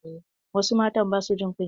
Wasu matan ba sua jin kunya.